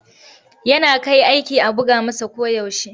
Yana kai aiki a buga masa koyaushe.